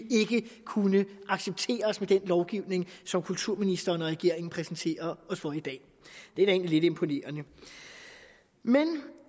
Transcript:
kunne accepteres med den lovgivning som kulturministeren og regeringen præsenterer os for i dag det er da egentlig lidt imponerende men